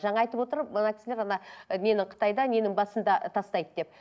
жаңа айтып отыр мына кісілер ана ы нені қытайда ненің басында тастайды деп